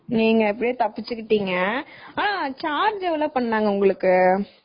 நீங்க எப்படியோ தப்பிச்சுக்கிட்டிங்க.ஆனா charge எவளோ பண்ணாங்க உங்களுக்கு?